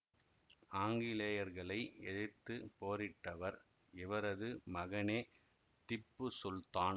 ஆங்கிலேயர்களை எதிர்த்து போரிட்டவர் இவரது மகனே திப்புசுல்தான்